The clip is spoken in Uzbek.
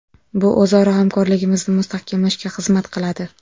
Bu o‘zaro hamkorligimizni mustahkamlashga xizmat qiladi.